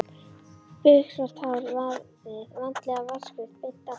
Biksvart hárið vandlega vatnsgreitt beint aftur.